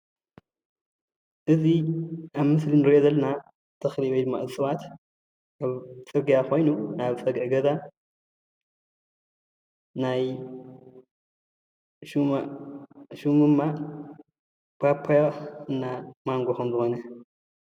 እዚ ኣብ ምስሊ እንሪኦ ዘለና ተኽሊ ወይድማ እፅዋት ኣብ ፅርግያ ኾይኑ ናብ ፀግዒ ገዛ ሽሙ ድማ ፓፓዮን ማንጎን ከምዝኮነ የሪአና።